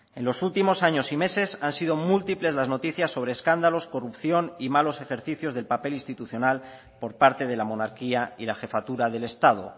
en los últimos años y meses han sido múltiples las noticias sobre escándalos corrupción y malos ejercicios del papel institucional por parte de la monarquía y la jefatura del estado